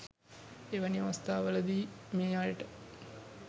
එවැනි අවස්ථාවලදී මේ අයට